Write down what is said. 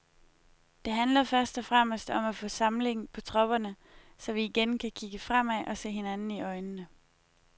Det handler først og fremmest om at få samling på tropperne, så vi igen kan kigge fremad og se hinanden i øjnene.